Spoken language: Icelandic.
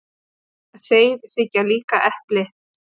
Þeir þiggja líka epli.